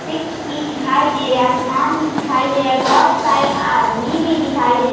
वृछ भी दिखाई दे रहा है | आसमान भी दिखाई दे रहा है | बहुत सारे आदमी भी दिखाई दे --